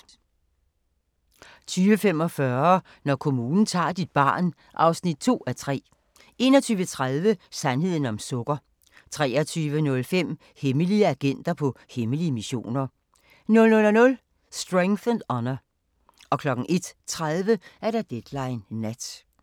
20:45: Når kommunen tager dit barn (2:3) 21:30: Sandheden om sukker 23:05: Hemmelige agenter på hemmelige missioner 00:00: Strength and Honour 01:30: Deadline Nat